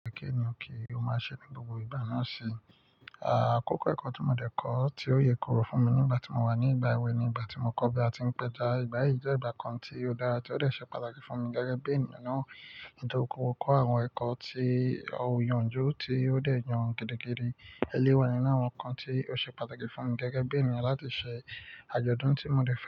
Kẹ́kẹ́ ni òkè, ó máa ṣe ní gbogbo ìgbà náà ṣe. Akókò ẹ̀kọ́ tí mo dẹ́ kọ́ tí ó ye korò fún mi nígbà tí mo wà ní ìgbà èwe ni ìgbà tí mo kọ́ bí a ti ń pẹja. Ìgbà yìí jẹ́ ìgbà kan tí ó dára tí ó dẹ ṣe pàtàkì fún mi gẹ́gẹ́ bí ènìyàn náà tó kọ́kọ́ kọ́ àwọn ẹ̀kọ́ tí ò yànjú tí ó dẹ̀ yan gidi gidi. Eléyii wa ninu àwọn nǹkan tí ó ṣe pàtàkì fún mi gẹ́gẹ́ bí ènìyàn láti ṣe àjọ̀dún tí mo dẹ́ fẹ́.